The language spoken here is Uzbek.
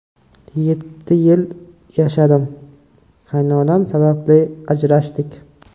Yetti yil yashadim, qaynonam sababli ajrashdik.